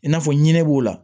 I n'a fɔ ɲinɛ b'o la